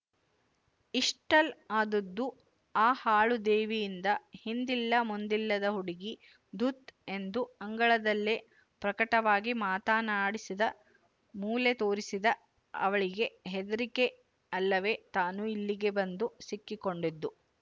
ಇಷೆ್ಟಲ್ಲ ಆದದ್ದು ಆ ಹಾಳು ದೇವಿಯಿಂದ ಹಿಂದಿಲ್ಲ ಮುಂದಿಲ್ಲದ ಹುಡುಗಿ ಧುತ್ ಎಂದು ಅಂಗಳದಲ್ಲೇ ಪ್ರಕಟವಾಗಿ ಮಾತನಾಡಿಸಿದ ಮೊಲೆ ತೋರಿಸಿದ ಅವಳಿಗೆ ಹೆದರಿಕೆ ಅಲ್ಲವೇ ತಾನು ಇಲ್ಲಿಗೆ ಬಂದು ಸಿಕ್ಕಿಕೊಂಡದ್ದು